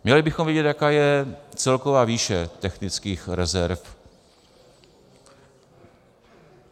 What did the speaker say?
Měli bychom vědět, jaká je celková výše technických rezerv.